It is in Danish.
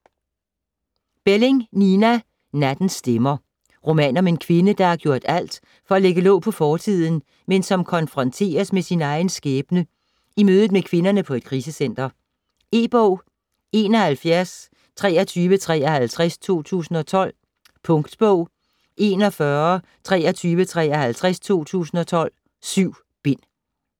Belling, Nina: Nattens stemmer Roman om en kvinde, der har gjort alt for at lægge låg på fortiden, men som konfronteres med sin egen skæbne i mødet med kvinderne på et krisecenter. E-bog 712353 2012. Punktbog 412353 2012. 7 bind.